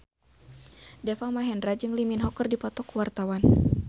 Deva Mahendra jeung Lee Min Ho keur dipoto ku wartawan